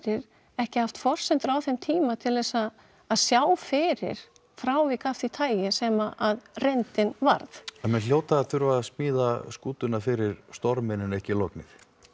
ekki haft forsendur á þeim tíma til þess að að sjá fyrir frávik af því tagi sem reyndin varð menn hljóta að þurfa smíða skútuna fyrir storminn en ekki lognið